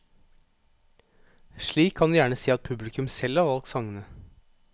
Slik kan du gjerne si at publikum selv har valgt sangene.